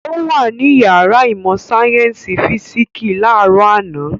Ó wà ní ìyàrá ìmọ̀-sáyẹ́ńsì físíkísì láàárọ̀ àná.